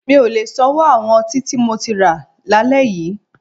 Mi ò lè sanwó àwọn ọtí tí mo ti rà lálẹ́ yí.